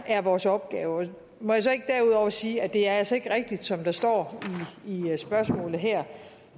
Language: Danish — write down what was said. er vores opgave må jeg så ikke derudover sige at det altså ikke er rigtigt som der står i spørgsmålet her